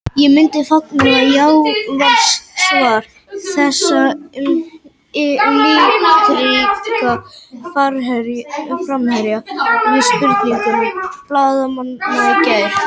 Ég myndi fagna, já, var svar þessa litríka framherja við spurningum blaðamanna í gær.